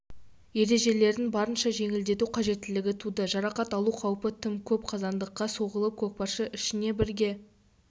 ережелерін барынша жеңілдету қажеттілігі туды жарақат алу қаупі тым көп қазандыққа соғылып көкпаршы ішіне бірге